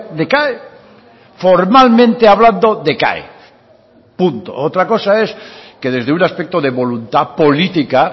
decae formalmente hablando decae punto otra cosa es que desde un aspecto de voluntad política